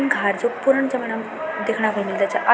घार जू पूरण जमणा म देखणा म मिलदा छा अर --